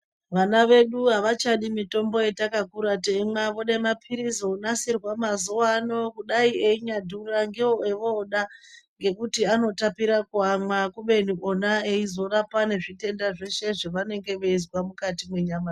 Vana vedu havachadi mitombo yetakakura teimwa vode maphirizi ona sehwa mazuwano kudai echinyadhura ndiwo ovoda ngekuti anotapira kuamwa kubeni ona eizorapa nezvitenda zveshe zvevanenga veizwa mwukati mwenyama dzawo.